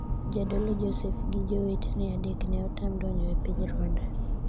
jadolo Josef gi jowetene adek ne otam donjo e piny Rwanda